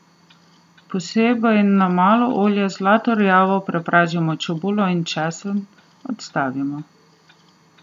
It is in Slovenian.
Posebej na malo olja zlato rjavo prepražimo čebulo in česen, odstavimo.